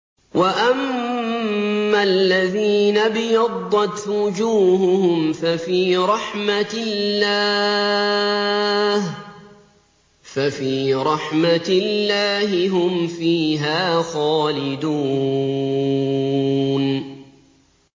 وَأَمَّا الَّذِينَ ابْيَضَّتْ وُجُوهُهُمْ فَفِي رَحْمَةِ اللَّهِ هُمْ فِيهَا خَالِدُونَ